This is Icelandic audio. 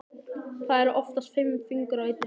Það eru oftast fimm fingur á einni hendi.